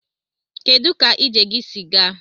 Kedụ ka ije gị si gaa?